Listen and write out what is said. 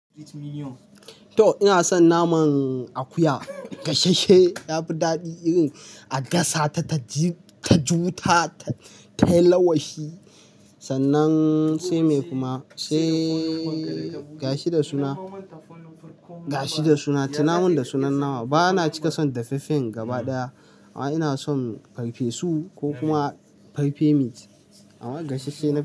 To ina son naman akuya, gashashe ya fi daɗi irin a gasa ta ta ji ta wuta tayi lawashi sannan sai me kuma sai gashi da suna gashi da suna, tunaman da sunan nama. Bana cika son dafaffen gaba ɗaya amma ina son farfesu ko kuma pepe meat amma gashashe na.